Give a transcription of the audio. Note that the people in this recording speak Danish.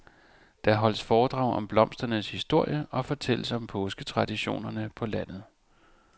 Der holdes foredrag om blomsternes historie og fortælles om påsketraditioner på landet.